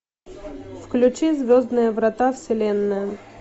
включи звездные врата вселенная